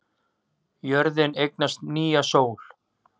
Jörðin eignast nýja sól